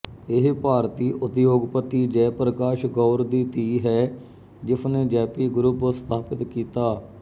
ਇਹ ਭਾਰਤੀ ਉਦਯੋਗਪਤੀ ਜੈਪ੍ਰਕਾਸ਼ ਗੌਰ ਦੀ ਧੀ ਹੈ ਜਿਸਨੇ ਜੈਪੀ ਗਰੁੱਪ ਸਥਾਪਤ ਕੀਤਾ